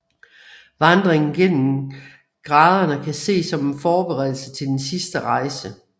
Vandringen gennem graderne kan ses som en forberedelse til den sidste rejse